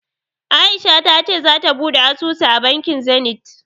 A'isha ta ce zata buɗe asusu a bankin Zenith.